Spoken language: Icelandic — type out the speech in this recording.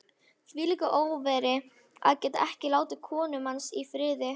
Hvílíkur óþverri, að geta ekki látið konuna manns í friði.